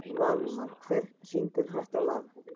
Valmar, hver syngur þetta lag?